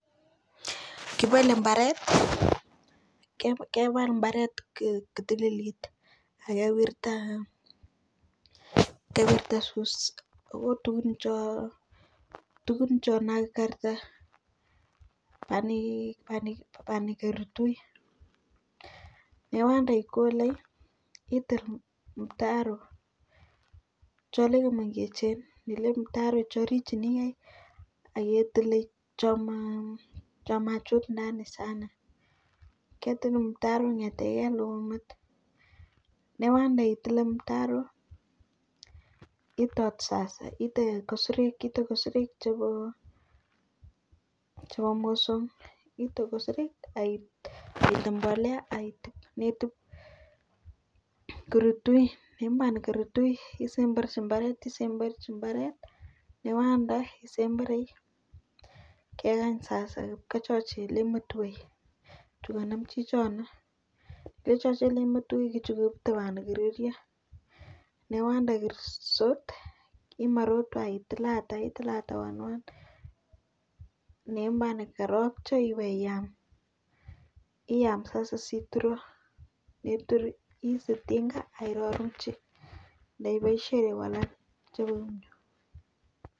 Kibole mbaret kebal mbaret kotililit akewirta tugun cho tugun cho nakarka panikertui yeiwanda ikole itil mtaro chole che mengechen itil mtaro orichineioe aketile cho machut ndani sana ketil mtaroit konyetegei ndou met newand aitile mtaro itou inde kosirek chebo mosongik tokosorik akinde mbolea akitub yeitub korutui isember mbaret isemberchi mbaret yeiwanda isemberi kekany sasa ipkochochilimetwei nyikonem chichon yechochelen metwo ketui timono kerio newand airisot itilate itilate one one neimane kerop che keiyam iyam sasa asiitur yeitur iib tinga akiropchi iboisiechi kolal.